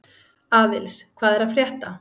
Aðils, hvað er að frétta?